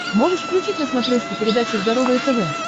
можешь включить на смотрешке передачу здоровое тв